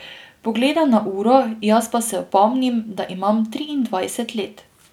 Pogleda na uro, jaz pa se opomnim, da imam triindvajset let.